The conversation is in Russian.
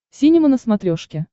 синема на смотрешке